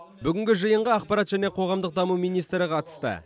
бүгінгі жиынға ақпарат және қоғамдық даму министрі қатысты